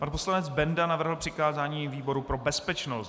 Pan poslanec Benda navrhl přikázání výboru pro bezpečnost.